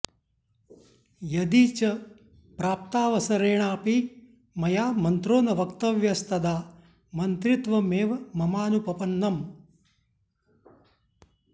यदि च प्राप्तावसरेणापि मया मन्त्रो न वक्तव्यस्तदा मन्त्रित्वमेव ममानुपपन्नम्